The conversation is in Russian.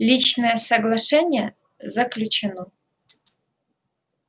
личное соглашение заключено